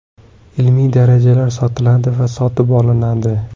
Ilmiy darajalar sotiladi va sotib olinadi.